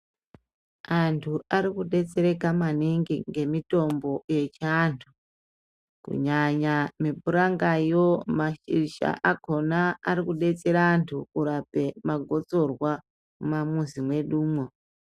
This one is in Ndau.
Antu ari kudetsereka maningi ngemitombo yechiantu kunyanya mipuranga yo mashizha akona Ari kudetsera antu kurape magotsorwa mumamuzi mwedumwo.